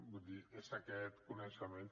vull dir és aquest coneixement